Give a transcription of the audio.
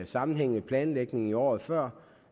sammenhængende planlægning i året før